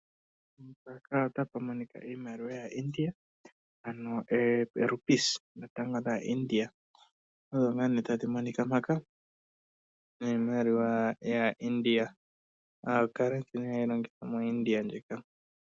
Mpano otapu monika iimaliwa yaa India, ndjoka hayi longithwa kaa India okulanda oompumbwe dhawo dhekehe esiku.